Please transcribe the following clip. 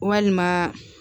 Walima